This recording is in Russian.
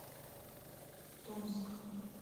томск